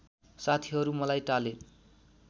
साथीहरू मलाई टाले